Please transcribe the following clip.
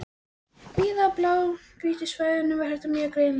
Víða á blágrýtissvæðunum er þetta mjög greinilegt.